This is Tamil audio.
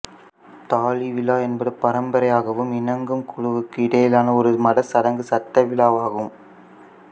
தாலி விழா என்பது பரம்பரையாகவும் இணங்கு குழுவுக்கு இடையிலான ஒரு மத சடங்கும் சட்ட விழாவுமாகும்